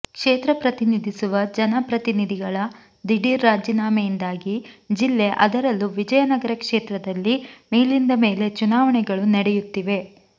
ಕ್ಷೇತ್ರ ಪ್ರತಿನಿಧಿಸುವ ಜನಪ್ರತಿನಿಧಿಗಳ ದಿಢೀರ್ ರಾಜೀನಾಮೆಯಿಂದಾಗಿ ಜಿಲ್ಲೆ ಅದರಲ್ಲೂ ವಿಜಯನಗರ ಕ್ಷೇತ್ರದಲ್ಲಿ ಮೇಲಿಂದ ಮೇಲೆ ಚುನಾವಣೆಗಳು ನಡೆಯುತ್ತಿವೆ